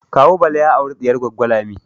Kawu Bala ya aure diyar Goggo Lami